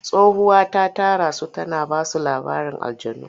Tsohuwa ta tara su tana ba su labarin aljannu.